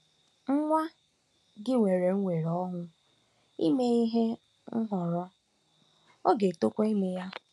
Nwa gị nwere nnwere onwe ime nhọrọ, ọ ga-etokwa ime ya.